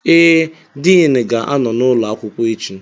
Ee, Din ga-anọ n'ụlọ akwụkwọ echi